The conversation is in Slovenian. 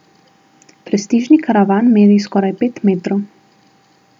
Prestižni karavan meri skoraj pet metrov.